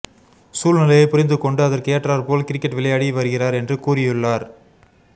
சூழ்நிலையை புரிந்து கொண்டு அதற்கு ஏற்றார் போல் கிரிக்கெட் விளையாடி வருகிறார் என்று கூறியுள்ளார்